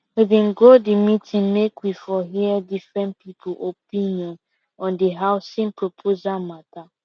we been go the meeting make we for hear different people opinion on the housing proposal matter